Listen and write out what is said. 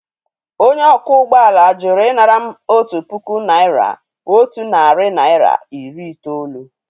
Onye ọkwọ ụgbọ ala jụrụ ịnara m otu puku naịra otu narị naịra iri itoolu